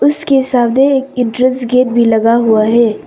उसके साथ एक ये एड्रेस गेट भी लगा हुआ है।